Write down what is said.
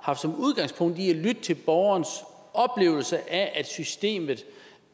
haft udgangspunkt i at lytte til borgerens oplevelse af at systemet